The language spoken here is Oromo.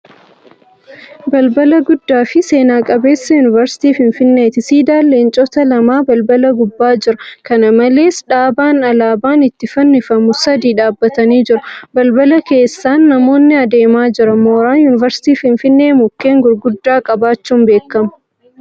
Balbala guddaa fi seena qabeessa yuunivarsiitii Finfinneeti. Siidaan leencota lamaa balbala gubbaa jira. Kana malees, dhaabaan alaabaan itti fannifamu sadii dhaabatanii jiru. Balbala keessan namoonni adeemaa jira. Mooraan Yuunivarsiitiin Finfinnee mukkeen gurguddaa qabaachuun beekama.